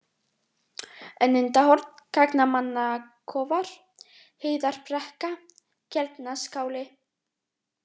Önundarhorn, Gangnamannakofar, Heiðarbrekka, Keldnaskáli